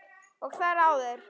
Og þar áður?